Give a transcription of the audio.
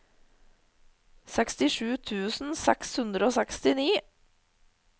sekstisju tusen seks hundre og sekstini